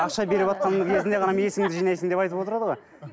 ақша беріватқан кезіңде ғана есіңді жинайсың деп айтып отырады ғой